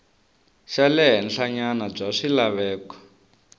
xa le henhlanyana bya swilaveko